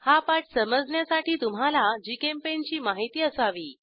हा पाठ समजण्यासाठी तुम्हाला जीचेम्पेंट ची माहिती असावी